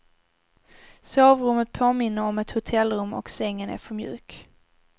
Sovrummet påminner om ett hotellrum och sängen är för mjuk.